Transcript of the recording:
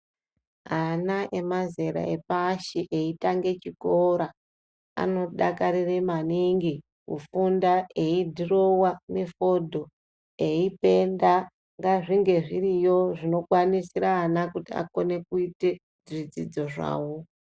Ana emazera epashi eitange chikora anodakarire maningi kufunda eidhurova mifodho. Eipenda nezvinonga zviriyo eikwanisira vantu kuti akone kuite zvidzidzo zvavo.